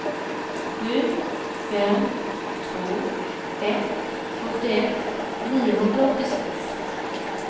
sju fem två ett sjuttioett niohundraåttiosex